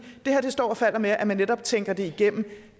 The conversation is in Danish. det her står og falder med at man netop tænker det igennem